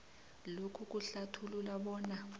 lokhu kuhlathulula bona